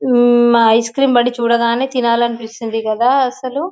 ఆ ఆ ice cream బండి చూడగానే తినాలి అనిపిస్తుంది కదా అసలు .